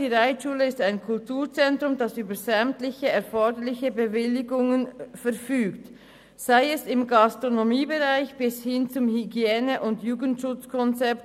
Die Reitschule ist ein Kulturzentrum, das über sämtliche erforderlichen Bewilligungen verfügt, vom Gastronomiebereich bis hin zum Hygiene- und Jugendschutzkonzept;